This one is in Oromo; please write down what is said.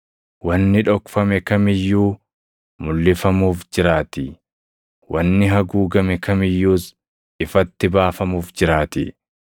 Wanni dhokfame kam iyyuu mulʼifamuuf jiraatii; wanni haguugame kam iyyuus ifatti baafamuuf jiraatii.